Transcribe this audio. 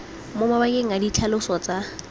mo mabakeng a ditlhaloso tsa